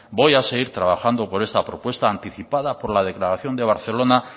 voy a seguir trabajando por esta propuesta anticipada por la declaración de barcelona